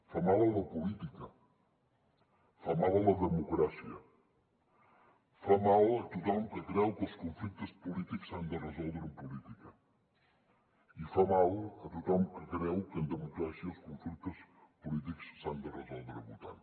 fa mal a la política fa mal a la democràcia fa mal a tothom que creu que els conflictes polítics s’han de resoldre amb política i fa mal a tothom que creu que en democràcia els conflictes polítics s’han de resoldre votant